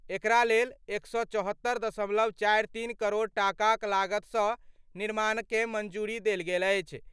एकरा लेल 174.43 करोड़ टाकाक लागतसँ निर्माणकँ मंजूरी देल गेल अछि।